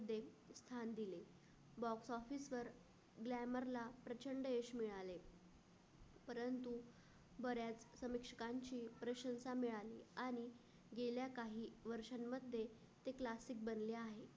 भान दिले the coffee sir grammar ला प्रचंड यश मिळाले. परंतु बऱ्याच समस्यांची प्रशिक्षण मिळाल्या आणि गेल्या काही वर्षांमध्ये ते classes बंद आहे.